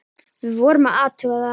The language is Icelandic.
Við vorum að athuga það.